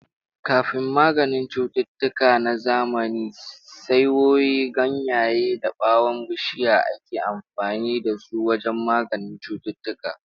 Kafin maganin cututtuka na zamani, saiwoyi, ganyaye da ɓawon bishiya ake amfani da su wajen magance cututtuka.